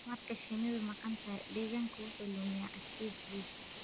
Marka shinnidu maqan tahay, deegaanku wuxuu lumiyaa adkaysigiisa.